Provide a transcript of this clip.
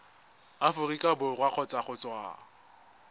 aforika borwa kgotsa go tswa